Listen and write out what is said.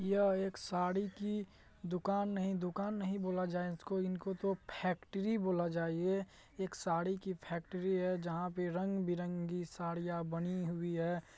यह एक साड़ी की दुकान नहीं दुकान नहीं बोला जाये इसको इनको तो फैक्ट्री बोला जाये ये एक साड़ी की फैक्ट्री है जहां पे रंग-बिरंगी साड़ीयां बनी हुई है।